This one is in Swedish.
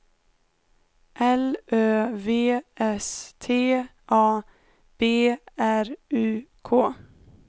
L Ö V S T A B R U K